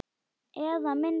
Eða mynd.